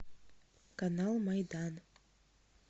канал майдан